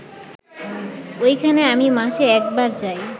ওইখানে আমি মাসে একবার যাই